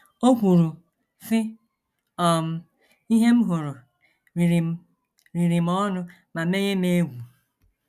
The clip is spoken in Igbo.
O kwuru, sị: um “ Ihe m hụrụ riri m riri m ọnụ ma menye m egwu.